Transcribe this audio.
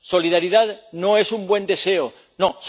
La solidaridad no es un buen deseo, no